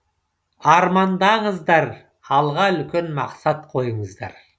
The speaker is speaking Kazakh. армандаңыздар алға үлкен мақсат қойыңыздар